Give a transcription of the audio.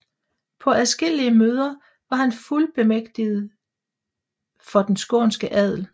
På adskillige møder var han befuldmægtiget for den skånske adel